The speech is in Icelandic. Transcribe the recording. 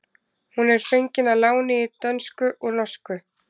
hún er fengin að láni í dönsku úr norsku